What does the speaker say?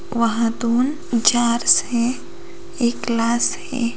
वहां दो जार्स है एक ग्लास है ।